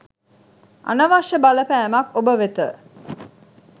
අනවශ්‍ය බලපෑමක් ඔබ වෙත